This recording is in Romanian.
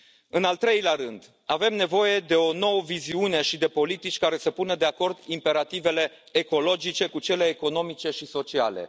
În al treilea rând, avem nevoie de o nouă viziune și de politici care să pună de acord imperativele ecologice cu cele economice și sociale.